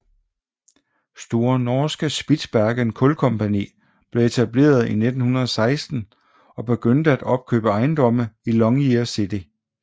Store Norske Spitsbergen Kulkompani blev etableret i 1916 og begyndte at opkøbe ejendomme i Longyear City